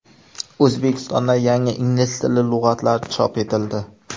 O‘zbekistonda yangi ingliz tili lug‘atlari chop etildi.